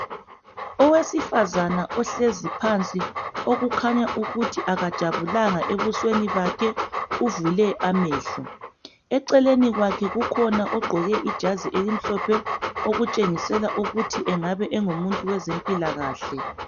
Oweseifazana ohlezi phansi okukhanya ukuthi akajabulanga ebusweni bakhe uvule amehlo eceleni kwakhe kukhona ogqoke ijazi elimhlophe okutshengisela ukuthi engabe ngowezempilakahle